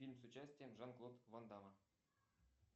фильм с участием жан клод ван дамма